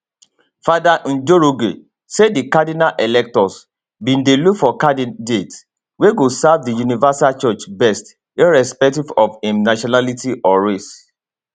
fr njoroge say di cardinal electors bin dey look for candidate wey go serve di universal church best irrespective of im nationality or race